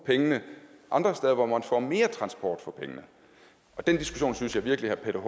pengene andre steder hvor man får mere transport for pengene den diskussion synes jeg virkelig herre peter